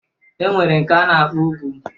E nwere nke a na-akpọ ugwu